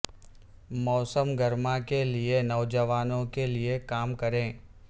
موسم گرما کے لئے نوجوانوں کے لئے کام کریں